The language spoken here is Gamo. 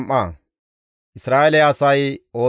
GODAA qaalay yiidi taas,